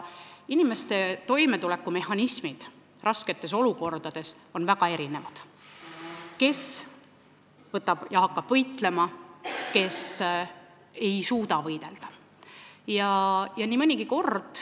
Inimeste toimetulekumehhanismid raskes olukorras on väga erinevad, keegi võtab ja hakkab võitlema, aga keegi ei suuda võidelda.